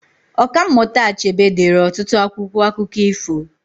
Ọka mmụta Achebe deere ọtụtụ akwụkwọ akụkọ ifo